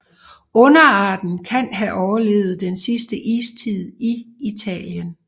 Underarten kan have overlevet den sidste istid i Italien